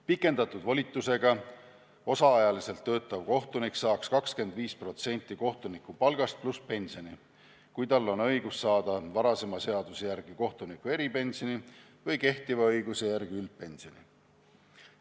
Pikendatud volitusega osaajaliselt töötav kohtunik saaks 25% kohtunikupalgast, pluss pensioni, kui tal on õigus saada varasema järgi kohtuniku eripensioni või kehtiva õiguse järgi üldpensioni.